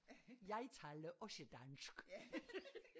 Jeg taler også dansk